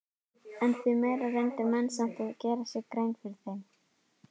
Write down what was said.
En því meira reyndu menn samt að gera sér grein fyrir þeim.